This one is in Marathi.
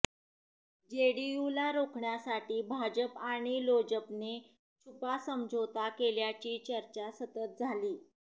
जेडीयूला रोखण्यासाठी भाजप आणि लोजपने छुपा समझोता केल्याची चर्चा सतत झाली